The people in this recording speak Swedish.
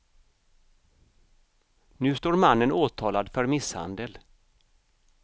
Nu står mannen åtalad för misshandel.